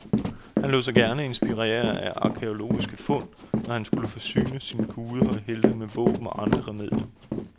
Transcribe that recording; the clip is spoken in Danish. Han lod sig gerne inspirere af arkæologiske fund, når han skulle forsyne sin guder og helte med våben og andre remedier.